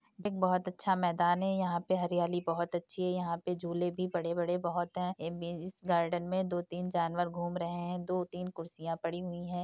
एक बहोत अच्छा मैदान है| यहाँ पे हरियाली बहोत अच्छी है | यहाँ पे झूले भी बड़े बड़े बहुत हैं | एम बी इस गार्डन में दो तीन जानवर घूम रहे हैं दो तीन कुर्सियां पड़ी हुई हैं।